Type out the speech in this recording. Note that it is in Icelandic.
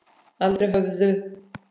Aldrei höfðu